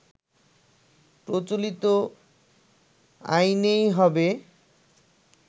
প্রচলিত আইনেই হবে